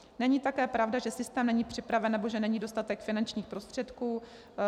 Není také pravda, že systém není připraven nebo že není dostatek finančních prostředků.